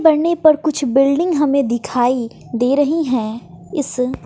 बढ़ने पर कुछ बिल्डिंग हमें दिखाई दे रही हैं इस--